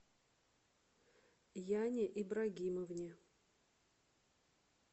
яне ибрагимовне